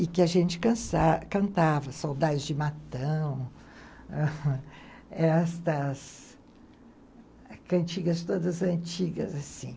E que a gente cantava, Saudades de Matão, estas cantigas todas antigas, assim.